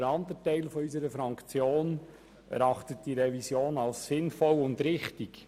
Der andere Teil unserer Fraktion erachtet diese Revision als sinnvoll und richtig.